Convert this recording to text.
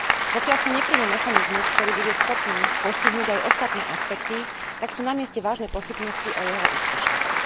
Pokiaľ sa neprijme mechanizmus, ktorý bude schopný postihnúť aj ostatné aspekty, tak sú na mieste vážne pochybnosti o jeho úspešnosti.